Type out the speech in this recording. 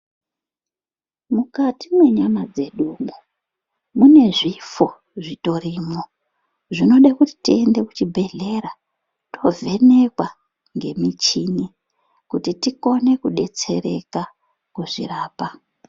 Mukati mwenyama dzedumwo munezvifo zvitorimwo ,zvinode kuti tiende kuChibhehlera tovhenekwa ngemuchini kuti tikone kudetsereka kuzvirapa.